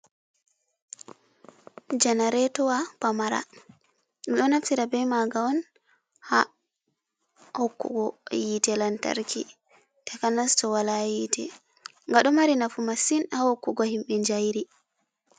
Janaretuwa pamara. Minɗo naftira ɓe maga on, ha hokkugo yite lantarki. Takanas to wala yite. gaɗo mari nafu masin ha hokkugo himɓe jairi.